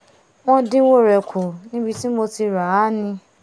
wọ́n dínwó rẹ̀ kù níbi tí mo ti ràá ni